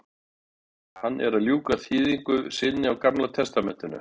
Hann er að ljúka þýðingu sinni á gamla testamentinu.